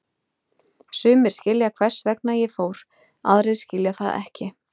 Sumir skilja hvers vegna ég fór, aðrir skilja það ekki.